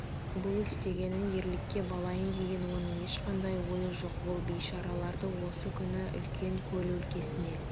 бұл істегенін ерлікке балайын деген оның ешқандай ойы жоқ ол бейшараларды осы күні үлкен көл өлкесіне